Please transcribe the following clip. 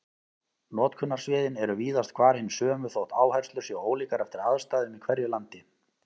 Notkunarsviðin eru víðast hvar hin sömu þótt áherslur séu ólíkar eftir aðstæðum í hverju landi.